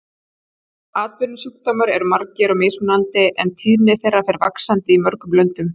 Atvinnusjúkdómar eru margir og mismunandi en tíðni þeirra fer vaxandi í mörgum löndum.